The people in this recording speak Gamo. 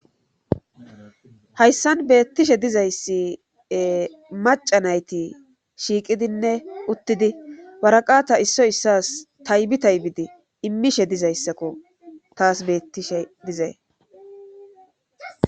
hayssan beettishe dizayssi maca nayti shiiqidinne uttidi waraqata issoy issas taybi taybidi immishe dizayssakko taas beettishe dizay